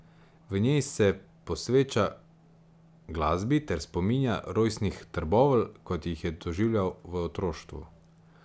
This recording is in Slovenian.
V njej se posveča glasbi ter spominja rojstnih Trbovelj, kot jih je doživljal v otroštvu.